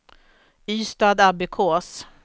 Ystadabbekås